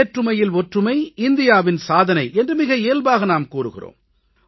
வேற்றுமையில் ஒற்றுமை இந்தியாவின் சாதனை என்று மிக இயல்பாக நாம் கூறுகிறோம்